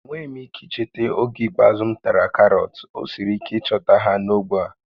Enweghị m ike icheta oge ikpeazụ m tara karọt, ọ siri ike ịchọta ha n'ógbè a